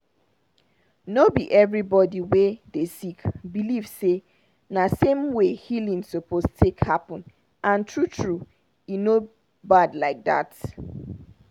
no be everybody wey dey sick believe say na same way healing suppose take happen and true true e no bad like dat.